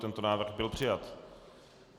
Tento návrh byl přijat.